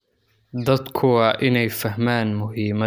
Dadku waa inay fahmaan muhiimada aqoonsiga.